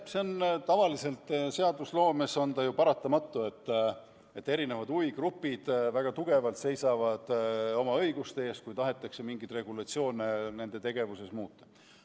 Jah, see on tavaliselt seadusloomes ju paratamatu, et erinevad huvigrupid seisavad väga tugevalt oma õiguste eest, kui tahetakse mingeid regulatsioone nende tegevusega seoses muuta.